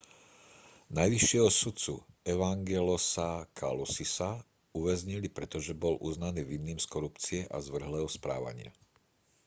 najvyššieho sudcu evangelosa kalousisa uväznili pretože bol uznaný vinným z korupcie a zvrhlého správania